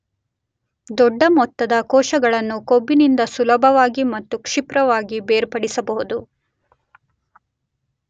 ದೊಡ್ಡ ಮೊತ್ತದ ಕೋಶಗಳನ್ನು ಕೊಬ್ಬಿನಿಂದ ಸುಲಭವಾಗಿ ಮತ್ತು ಕ್ಷಿಪ್ರವಾಗಿ ಬೇರ್ಪಡಿಸಬಹುದು